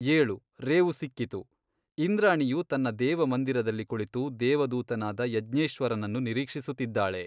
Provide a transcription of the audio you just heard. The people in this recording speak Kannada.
ಏಳು, ರೇವು ಸಿಕ್ಕಿತು ಇಂದ್ರಾಣಿಯು ತನ್ನ ದೇವಮಂದಿರದಲ್ಲಿ ಕುಳಿತು ದೇವದೂತನಾದ ಯಜ್ಞೇಶ್ವರನನ್ನು ನಿರೀಕ್ಷಿಸುತ್ತಿದ್ದಾಳೆ.